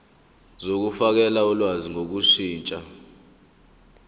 zokufakela ulwazi ngokushintsha